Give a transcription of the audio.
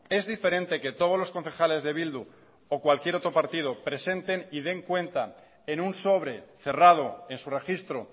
es diferente que todos los concejales de bildu o cualquier otro partido presenten y den cuenta en un sobre cerrado en su registro